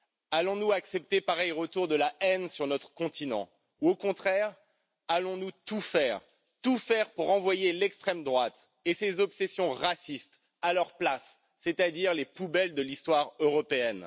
Allons nous accepter pareil retour de la haine sur notre continent ou, au contraire, allons nous tout faire pour renvoyer l'extrême droite et ses obsessions racistes à leur place, c'est à dire dans les poubelles de l'histoire européenne?